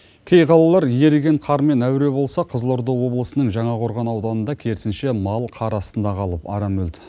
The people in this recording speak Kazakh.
кей қалалар еріген қармен әуре болса қызылорда облысының жаңақорған ауданында керісінше мал қар астында қалып арам өлді